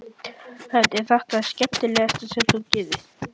Hödd: Er þetta það skemmtilegasta sem þú gerir?